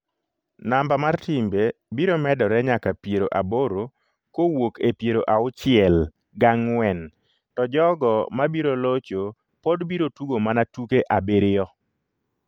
Namba mar timbe biro medore nyaka piero aboro kowuok e pieroauchiel gang'wen to jogo ma biro locho pod biro tugo mana tuke abiriyo.